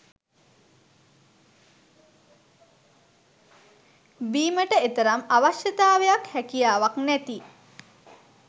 බීමට එතරම් අවශ්‍යතාවයක්හැකියාවක් නැති